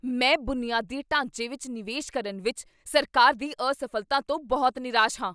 ਮੈਂ ਬੁਨਿਆਦੀ ਢਾਂਚੇ ਵਿੱਚ ਨਿਵੇਸ਼ ਕਰਨ ਵਿੱਚ ਸਰਕਾਰ ਦੀ ਅਸਫ਼ਲਤਾ ਤੋਂ ਬਹੁਤ ਨਿਰਾਸ਼ ਹਾਂ।